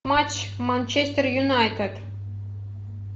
матч манчестер юнайтед